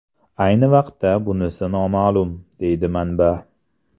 Ayni vaqtda bunisi noma’lum”, deydi manba.